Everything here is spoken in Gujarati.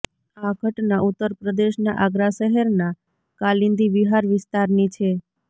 આ ઘટના ઉત્તરપ્રદેશના આગ્રા શહેરના કાલિંદી વિહાર વિસ્તારની છે